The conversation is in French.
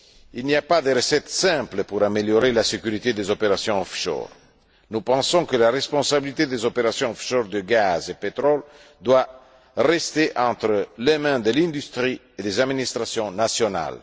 Il n'y a pas de recette simple pour améliorer la sécurité des opérations offshore. Nous pensons que la responsabilité des opérations offshore de gaz et pétrole doit rester entre les mains de l'industrie et des administrations nationales.